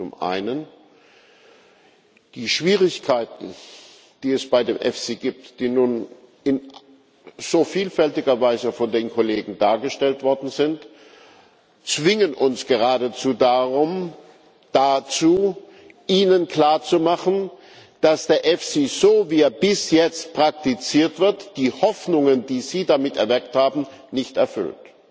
Zum Einen Die Schwierigkeiten, die es bei dem EFSI gibt, die nun in so vielfältiger Weise von den Kollegen dargestellt worden sind, zwingen uns geradezu dazu, Ihnen klarzumachen, dass der EFSI so, wie er bis jetzt praktiziert wird, die Hoffnungen, die Sie damit erweckt haben, nicht erfüllt.